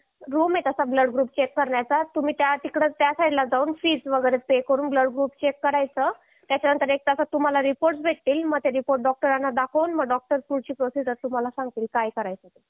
room आहे तास blood group check करण्याचं तुम्ही त्या साईड ला जाऊन फीस वगैरे पे करून ब्लड ग्रुप चेक करायच त्याच्यानंतर एक तासात तुम्हाला रिपोर्ट भेटतील मग ते रिपोर्ट डॉक्टरांना दाखवून मग डॉक्टर पुढची प्रोसेस तुम्हाला सांगतील काय करायचं ते